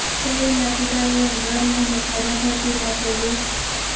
તેણીના પિતા તેને દર મહિને ખાધા ખર્ચી માટે રુા